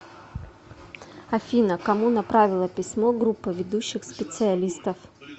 афина кому направила письмо группа ведущих специалистов